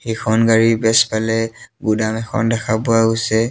এইখন গাড়ীৰ পেছফালে গুদাম এখন দেখা পোৱা গৈছে।